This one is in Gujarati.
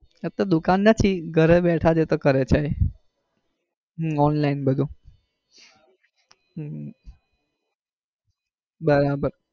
એતો દુકાન નથી ઘરે બેઠા જ કરે છે એતો એ online બધું. હમ બરાબર